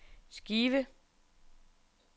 skive